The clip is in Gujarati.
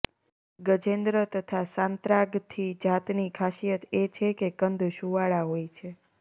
ગજેન્દ્ર તથા સાંત્રાગથી જાતની ખાસિયત એ છે કે કંદ સુંવાળા હોય છે